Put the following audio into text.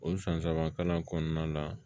O san saba kalan kɔnɔna na